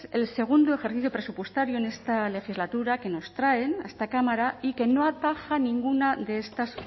el segundo ejercicio presupuestario en esta legislatura que nos traen a esta cámara y que no ataja ninguna de estas